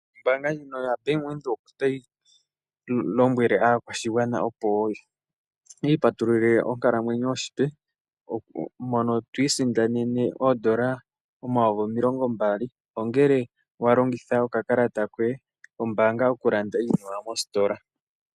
Ombaanga yaBank Windhoek otayi lombwele aakwashigwana opo yi i patululile onkalamwenyo ompe, mono twiisindanene oondola omayovi N$20 000 ngele walongitha okakalata koye kombaanga okulanda iinima mostola.